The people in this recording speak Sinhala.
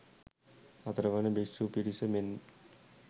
හතර වන භික්ෂූ පිරිස මෙන්